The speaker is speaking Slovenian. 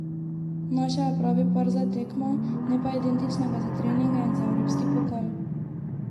Našel je pravi par za tekme, ne pa identičnega za treninge in za evropski pokal.